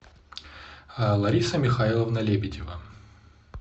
лариса михайловна лебедева